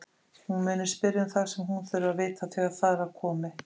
Hún muni spyrja um það sem hún þurfi að vita þegar þar að komi.